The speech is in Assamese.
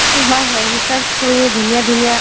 অ হয় হয় research কৰি ধুনীয়া ধুনীয়া